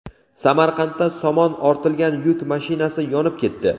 Samarqandda somon ortilga yuk mashinasi yonib ketdi.